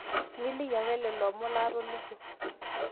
miliki ake lelo omon laatolikio